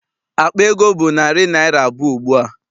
Akpa ego bụ naịra narị abụọ ugbua.